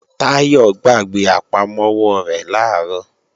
Táyọ̀ gbàgbé àpamọ́wọ́ rẹ̀ làárọ̀